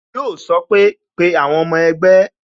Yo sọ pé "Pe àwọn ọmọ ẹgbẹ́